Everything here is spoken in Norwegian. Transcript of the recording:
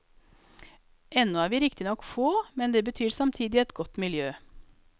Ennå er vi riktignok få, men det betyr samtidig et godt miljø.